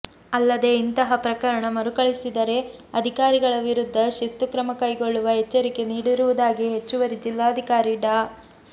ಅಲ್ಲದೆ ಇಂತಹ ಪ್ರಕರಣ ಮರುಕಳಿಸಿದರೆ ಅಧಿಕಾರಿಗಳ ವಿರುದ್ಧ ಶಿಸ್ತು ಕ್ರಮ ಕೈಗೊಳ್ಳುವ ಎಚ್ಚರಿಕೆ ನೀಡಿರುವುದಾಗಿ ಹೆಚ್ಚುವರಿ ಜಿಲ್ಲಾಧಿಕಾರಿ ಡಾ